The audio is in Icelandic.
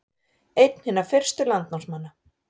Einn hinna fyrstu landnámsmanna